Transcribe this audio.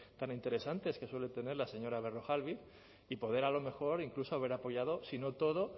tan interesantes que suele tener la señora berrojalbiz y poder a lo mejor incluso haber apoyado si no todo